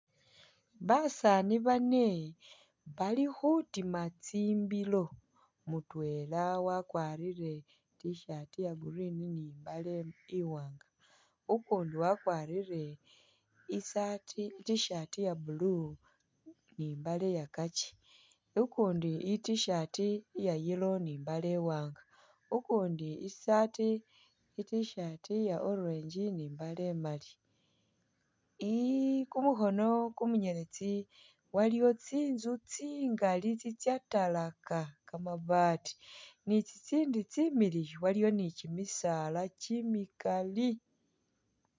Basani bane bali khutima tsimbilo mutwela wakwarile t-shirt iya green ni imbale iwanga ukundi wakwarile i'saati i't-shirt ya blue ni imbale ya kakyi ukundi i't-shirt ya yellow ni imbale iwanga ukundi i'saat i't-shirt ya orage ni imbale imali kumukhono kumunyeletsi waliwo tsintsu tsingali tsatalaka kamabaat ni tsitindi tsiiliyu waliyo ni kyimisaala kyimikali